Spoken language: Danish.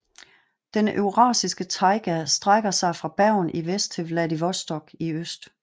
Den eurasiske taiga strækker sig fra Bergen i Vest til Vladivostok i øst